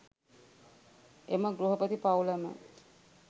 එම ගෘහපති පවුලම